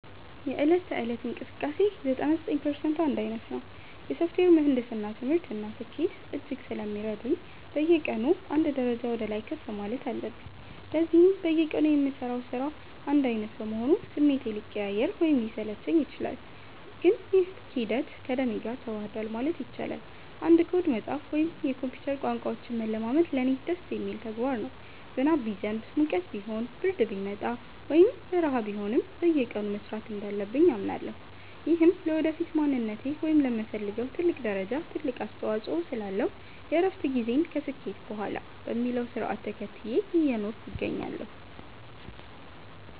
የዕለት ተዕለት እንቅስቃሴዬ 99% አንድ ዓይነት ነው። የሶፍትዌር ምህንድስና ትምህርት እና ስኬት እጅግ ስለሚረቡኝ፣ በየቀኑ አንድ ደረጃ ወደ ላይ ከፍ ማለት አለብኝ። ለዚህም በየቀኑ የምሠራው ሥራ አንድ ዓይነት በመሆኑ ስሜቴ ሊቀያየር ወይም ሊሰለቸኝ ይችላል፤ ግን ይህ ሂደት ከደሜ ጋር ተዋህዷል ማለት ይቻላል። አንድ ኮድ መጻፍ ወይም የኮምፒውተር ቋንቋዎችን መለማመድ ለእኔ ደስ የሚል ተግባር ነው። ዝናብ ቢዘንብ፣ ሙቀት ቢሆን፣ ብርድ ቢመጣ ወይም በረሃ ቢሆንም፣ በየቀኑ መሥራት እንዳለብኝ አምናለሁ። ይህም ለወደፊት ማንነቴ ወይም ለምፈልገው ትልቅ ደረጃ ትልቅ አስተዋጽኦ ስላለው፣ የእረፍት ጊዜን ከስኬት በኋላ በሚለው ሥርዓት ተከትዬ እየኖርኩ እገኛለሁ።